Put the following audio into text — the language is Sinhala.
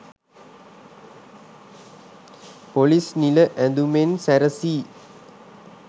පොලිස් නිල ඇඳුමෙන් සැරසී